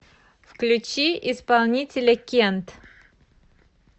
включи исполнителя кент